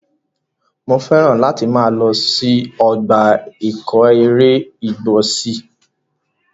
Mo fẹ́ràn láti máa lọ sí ọgbà ìkóẹran igbó sí.